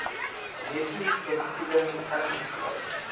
netto vergoeding ingesluit